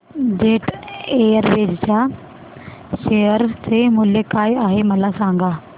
jet Airways च्या share चे मूल्य काय आहे मला सांगा